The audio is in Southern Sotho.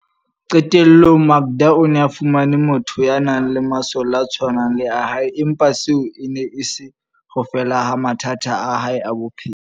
Qe tellong, Makda o ne a fumane motho ya nang le masole a tshwanang le a hae, empa seo e ne e se ho fela ha mathata a hae a bophelo.